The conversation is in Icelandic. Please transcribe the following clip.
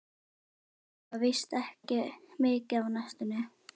Ég baka víst ekki mikið á næstunni.